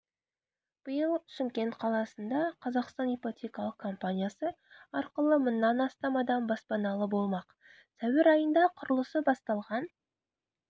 биыл шымкент қаласында қазақстан ипотекалық компаниясы арқылы мыңнан астам адам баспаналы болмақ сәуір айында құрылысы басталған